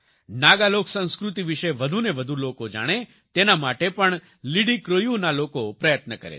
નાગા લોકસંસ્કૃતિ વિશે વધુને વધુ લોકો જાણે તેના માટે પણ લિડિક્રોયૂ ના લોકો પ્રયત્ન કરે છે